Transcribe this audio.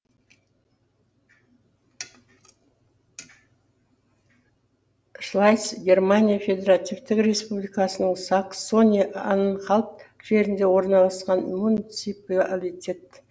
шлайц германия федеративтік республикасының саксония анхальт жерінде орналасқан муниципалитет